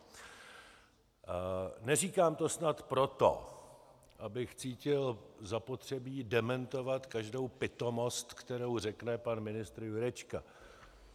Neříkám to snad proto, abych cítil zapotřebí dementovat každou pitomost, kterou řekne pan ministr Jurečka.